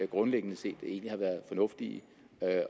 grundlæggende set egentlig har været fornuftige